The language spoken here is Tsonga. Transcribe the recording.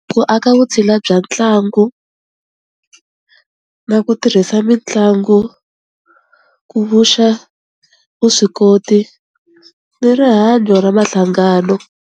Ku aka vutshila bya ntlangu na ku tirhisa mitlangu ku vuxa vuswikoti ni rihanyo ra mahlangano.